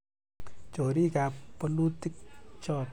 chorikab bolutik choto